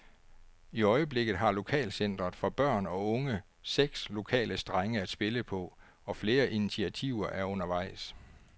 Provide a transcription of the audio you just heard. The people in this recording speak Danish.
I øjeblikket har lokalcentret for børn og unge seks lokale strenge at spille på, og flere initiativer er undervejs.